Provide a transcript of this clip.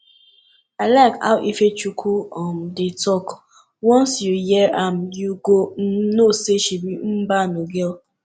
i like how ifechukwu um dey talk once you hear am you go um know say she be mbano girl